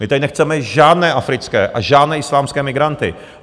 My tady nechceme žádné africké a žádné islámské migranty.